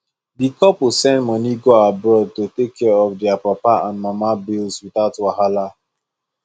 di couple send money go abroad to take care of their papa and mama bills without wahala